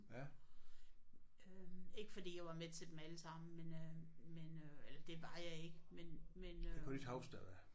Ikke fordi jeg var med til dem alle sammen men øh men øh eller det var jeg ikke men men øh